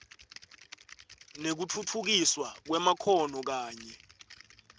nekutfutfukiswa kwemakhono kanye